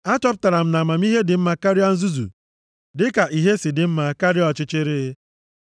Achọpụtara m na amamihe dị mma karịa nzuzu, dịka ìhè si dị mma karịa ọchịchịrị.